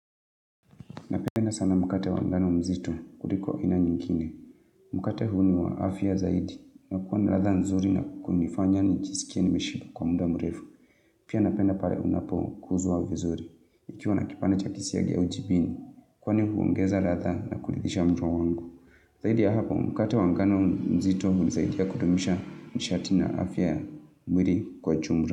Napeenda sana mukate wangano mzito, kuri kwa ina nyingkine. Mukate huniwa afya zaidi. Na kuwan na ratha nzuri na kunifanya ni jisikie ni meshipa kwa mda murefu. Pia napenda pare unapo kuzwa vizuri. Ikiwa na kipana chakisi ya giya ujibini. Kuwan ni huongeza ratha na kulidisha mdrawangu. Zaidi ya hapo, mukate wangano mzito, kuni zaidi ya kudumisha nishatina afia mwiri kwa chumura.